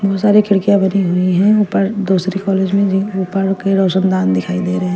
इतनी सारी खिड़किया भरी हुई है ऊपर दूसरी कॉलेज में गयी के रशुनदान दिखाई दे रहे है।